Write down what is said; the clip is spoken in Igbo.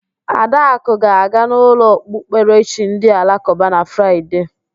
Adakụ ga-aga n'ụlọ okpukperechi ndị alakụba na Fraịde